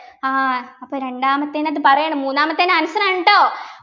ആഹ് അപ്പൊ രണ്ടാമത്തെനാത്ത് പറയാണ് മൂന്നാമത്തെൻ്റെ answer ആണ് ട്ടോ